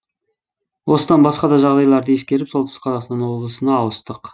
осыдан басқа да жағдайларды ескеріп солтүстік қазақстан облысына ауыстық